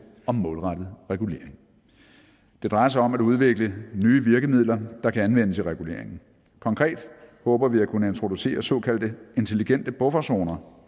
om målrettet regulering det drejer sig om at udvikle nye virkemidler der kan anvendes i reguleringen konkret håber vi at kunne introducere såkaldte intelligente bufferzoner